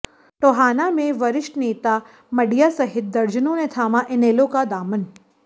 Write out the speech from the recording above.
टोहाना में वरिष्ठ नेता मडिया सहित दर्जनों ने थामा इनेलो का दामन